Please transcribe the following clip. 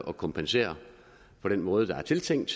at kompensere på den måde der er tiltænkt